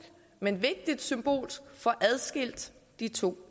men vigtigt symbolsk får adskilt de to